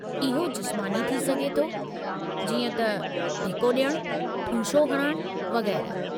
इहो जिस्मानी थी सघे थो जीअं त धिको ॾियणु, ठूंशो हणणु, वग़ेरह।